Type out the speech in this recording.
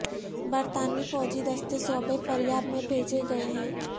برطانوی فوجی دستے صوبے فریاب میں بھیجے گئے ہیں